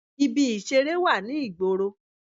Ibi ìseré wà ní ìgboro